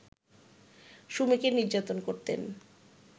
সুমিকে নির্যাতন করতেন